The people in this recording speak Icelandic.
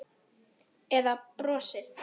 Eða brosið?